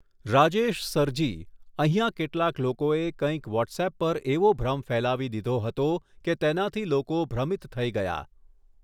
Rajesh sir ji, અહીંયા કેટલાક લોકોએ કંઈક વૉટ્સઍપ પર એવો ભ્રમ ફેલાવી દીધો હતો કે તેનાથી લોકો ભ્રમિત થઈ ગયા.